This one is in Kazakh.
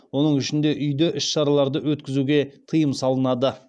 оның ішінде үйде іс шараларды өткізуге тыйым салынады